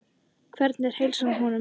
Hvernig er heilsan á honum?